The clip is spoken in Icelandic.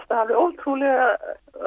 það alveg ótrúlega